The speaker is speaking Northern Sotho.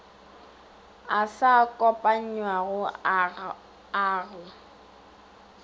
a sa kopanywago a go